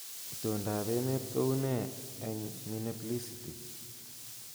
Itondoab emet kounee eng Minneapiliscity